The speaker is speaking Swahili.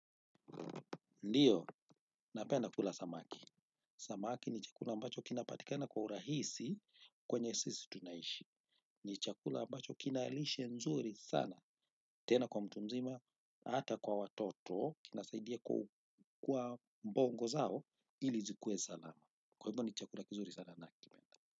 Ndio, napenda kula samaki. Samaki ni chakula ambacho kinapatikana kwa urahisi kwenye sisi tunaishi. Ni chakula ambacho kina lishe nzuri sana. Tena kwa mtu mzima, na hata kwa watoto, kinasaidia kwa bongo zao ili zikue salama. Kwa hivyo ni chakula kizuri sana nakipenda.